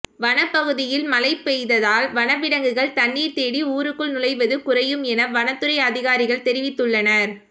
வனப்பகுதியில் மழை பெய்ததால் வனவிலங்குகள் தண்ணீர் தேடி ஊருக்குள் நுழைவது குறையும் என வனத்துறை அதிகாரிகள் தெரிவித்துள்ளனர்